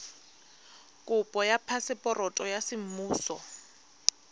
kopo ya phaseporoto ya semmuso